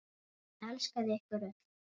Hann elskaði ykkur öll.